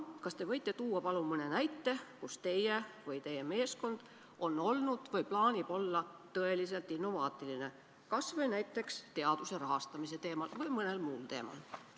Kas te võite tuua palun mõne näite, kus teie või teie meeskond on olnud või plaanib olla tõeliselt innovaatiline, kas või näiteks teaduse rahastamisel või mõnes muus valdkonnas?